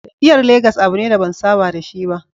Tafiyar Legas abu ne da ban saba da shi ba.